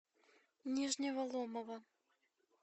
нижнего ломова